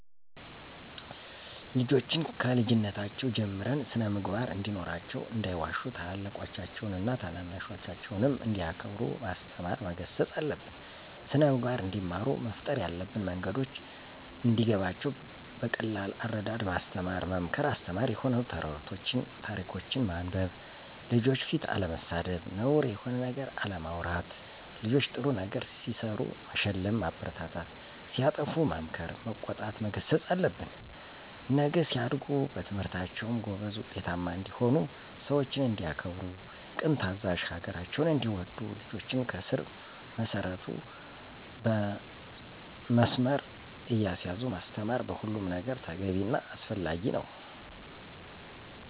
ልጆችን ከልጅነታቸው ጀምረን ስን-ምግባር እንዲኖራቸው እንዳይዋሹ ታላላቆቻቸውን ታናናሾቻቸውንም እንዲያከብሩ ማስተማር መገሰፅ አለብን። ስነምግባር እንዲማሩ መፍጠር ያለብን መንገዶች እንዲገባቸው በቀላል አረዳድ ማስተማር መምከር አስተማሪ የሆኑ ተረቶችን ታሪኮችን ማንበብ፣ ልጆች ፊት አለመሳደብ፣ ነውር የሆነ ነገር አለማውራት ልጆች ጥሩ ነገር ሲሰሩ መሸለም ማበረታታት ሲያጠፉ መምከር መቆጣት መገሰፅ አለብን። ነገ ሲያድጉ በትምህርታቸውም ጎበዝ ውጤታማ እንዲሆኑ፣ ሰውችን እንዲያከብሩ፦ ቅን ታዛዥ፣ ሀገራቸውን እንዲወዱ ልጆችን ከስር መሰረቱ መስመር እያሳዙ ማስተማር በሁሉም ነገር ተገቢ እና አስፈላጊ ነው።